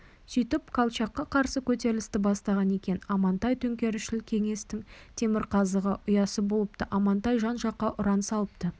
сөйтіп колчакқа қарсы көтерілісті бастаған екен амантай төңкерісшіл кеңестің темірқазығы ұясы болыпты амантай жан-жаққа ұран салыпты